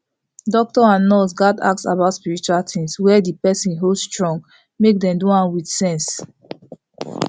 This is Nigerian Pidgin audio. doctor and nurse gatz ask about spiritual things wey the person hold strong make dem do am with sense